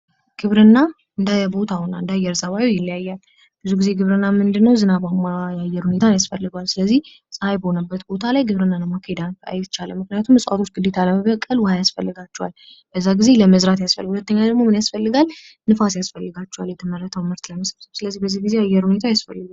ግብርና እንደየ ቦታውና አየር ፀባዩ ይለያያል። ብዙ ጊዜ ግብርና ዝናባማ የሆነ የአየር ንብረት ያስፈልገዋል። ፀሀይ በሆነ ቦታ ላይ ማካሄድ አይቻልም ምክንያቱም እፅዋቶች ለመብቀል ውሃ ያስፈልጋቸዋል። ነፋስም አስፈላጊ ነው ።